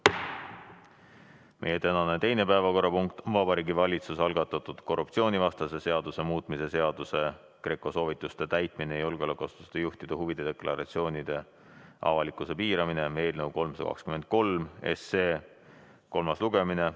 Meie tänane teine päevakorrapunkt on Vabariigi Valitsuse algatatud korruptsioonivastase seaduse muutmise seaduse eelnõu 323 kolmas lugemine.